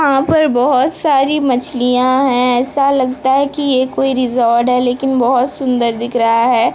यहां पर बहोत सारी मछलियां हैं ऐसा लगता है की ये कोई रिजॉर्ट है लेकिन बहोत सुंदर दिख रहा है।